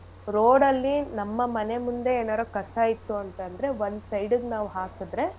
Road ಅಲ್ಲಿ ನಮ್ಮ ಮನೆಮುಂದೆ ಎನಾರು ಕಸ ಇತ್ತು ಅಂತಂದ್ರೆ ಒಂದ್ side ಇಗ್ ನಾವ್ ಹಾಕದ್ರೆ.